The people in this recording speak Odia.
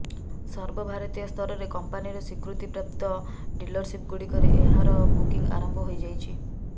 ସର୍ବଭାରତୀୟ ସ୍ତରରେ କମ୍ପାନିର ସ୍ୱୀକୃତିପ୍ରାପ୍ତ ଡିଲରସିପ୍ ଗୁଡ଼ିକରେ ଏହାର ବୁକିଂ ଆରମ୍ଭ ହୋଇଯାଇଛି